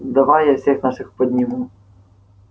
давай я всех наших подниму